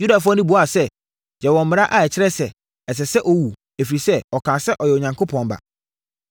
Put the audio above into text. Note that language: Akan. Yudafoɔ no buaa sɛ, “Yɛwɔ mmara a ɛkyerɛ sɛ, ɛsɛ sɛ ɔwu, ɛfiri sɛ, ɔkaa sɛ, ɔyɛ Onyankopɔn Ba.”